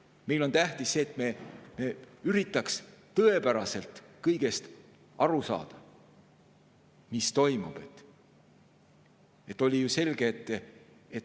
Meile on tähtis see, et me üritaks tõepäraselt aru saada kõigest, mis toimub.